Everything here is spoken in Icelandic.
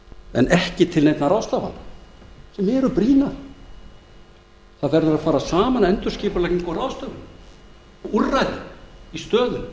en ekki grípa til neinna ráðstafana sem eru brýnar það verður að fara saman endurskipulagning og ráðstöfun úrræði í stöðunni